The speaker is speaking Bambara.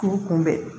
Kuru kunbɛn